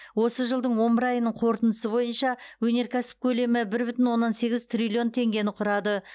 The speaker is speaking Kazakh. осы жылдың он бір айының қорытындысы бойынша өнеркәсіп көлемі бір бүтін оннан сегіз триллион теңгені құрады